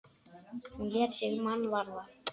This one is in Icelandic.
Hún lét sig mann varða.